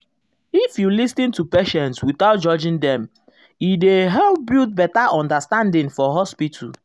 if you lis ten to patient without judging dem e dey help build better understanding for hospital.